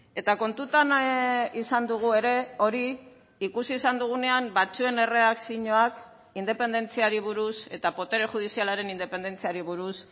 eta kontutan izan dugu ere hori ikusi izan dugunean batzuen erreakzioak independentziari buruz eta botere judizialaren independentziari buruz